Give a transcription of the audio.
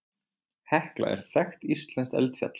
Hekla er þekkt íslenskt eldfjall.